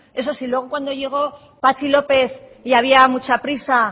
eso sí luego cuando llegó patxi lópez y había mucha prisa